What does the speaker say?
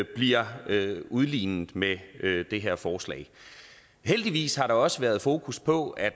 bliver udlignet med det her forslag heldigvis har der også været fokus på at